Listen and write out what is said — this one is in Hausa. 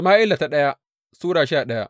daya Sama’ila Sura goma sha daya